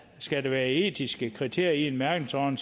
skal der være etiske kriterier i en mærkningsordning